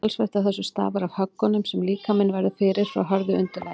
talsvert af þessu stafar af höggunum sem líkaminn verður fyrir frá hörðu undirlagi